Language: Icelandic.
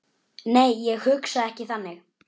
Nei, ég hugsa ekki þannig.